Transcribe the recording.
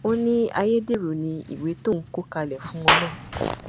ó ní ayédèrú ni ìwé tóun kọ kalẹ fún wọn náà